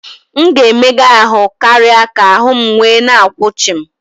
M ga-emegha ahụ́ karịa ka ahụ́ m wee na akwụ chịm